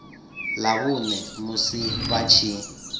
ḽa vhuṋe musi vha tshi